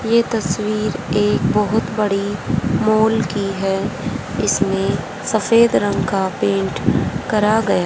यह तस्वीर एक बहुत बड़ी मॉल की है इसमें सफेद रंग का पेंट करा गया--